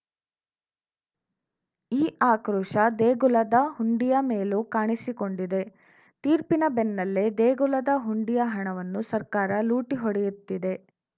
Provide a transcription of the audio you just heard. ಈ ಆಕ್ರೋಶ ದೇಗುಲದ ಹುಂಡಿಯ ಮೇಲೂ ಕಾಣಿಸಿಕೊಂಡಿದೆ ತೀರ್ಪಿನ ಬೆನ್ನಲ್ಲೇ ದೇಗುಲದ ಹುಂಡಿಯ ಹಣವನ್ನು ಸರ್ಕಾರ ಲೂಟಿ ಹೊಡೆಯುತ್ತಿದೆ